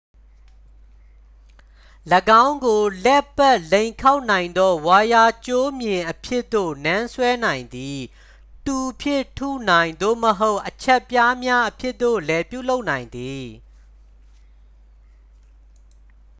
၎င်းကို လှည့်ပတ် လိမ်ခေါက်နိုင်သော ဝိုင်ယာကြိုးမျှင်အဖြစ်သို့ နန်းဆွဲနိုင်သည် တူဖြင့်ထုနိုင် သို့မဟုတ် အချပ်ပြားများအဖြစ်သို့လဲ ပြုလုပ်နိုင်သည်